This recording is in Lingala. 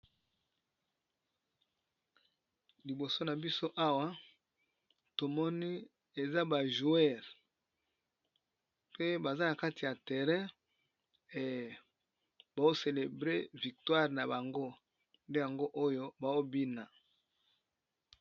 Liboso na biso awa to moni eza ba joueurs pe baza na kati ya terrain et bazo celebrer victoire na bango nde yango oyo bazo bina .